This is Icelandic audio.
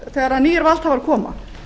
þegar nýir valdhafar koma